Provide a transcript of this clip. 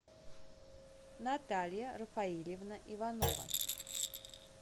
наталья рафаильевна иванова